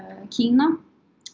Kína